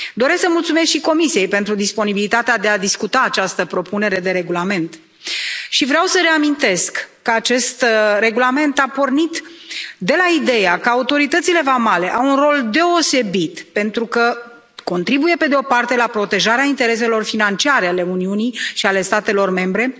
Doresc să mulțumesc și Comisiei pentru disponibilitatea de a discuta această propunere de regulament și vreau să reamintesc că acest regulament a pornit de la ideea că autoritățile vamale au un rol deosebit pentru că contribuie la protejarea intereselor financiare ale Uniunii și ale statelor membre,